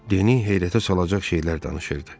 Deni heyrətə salacaq şeylər danışırdı.